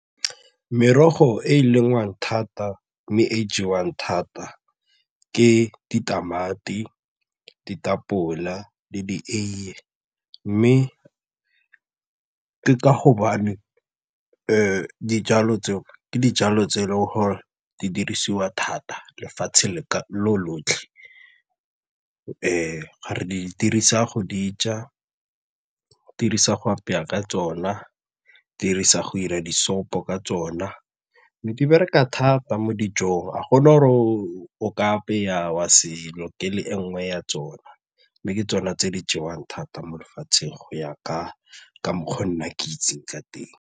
Merogo e e lengwang thata mme e e jewang thata ke ditamati, ditapole le dieiye mme ka gobane dijalo tseo ke dijalo tse e leng gore di dirisiwa thata lefatshe lotlhe re di dirisa go di ja, re dirisa go apeya ka tsona, re dirisa go ira di-soup-o ka tsona mme di bereka thata mo dijong ga gona gore o ka apaya wa se lokele e nngwe ya tsona mme ke tsona tse di jewang thata mo lefatsheng go ya ka mokgwa nna ke itseng ka teng.